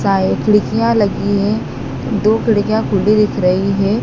खिड़कियां लगी है दो खिड़कियां खुली दिख रही है।